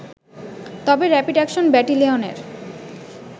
তবে rapid action ব্যাটেলিয়নের